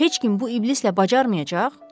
Heç kim bu iblislə bacarmayacaq?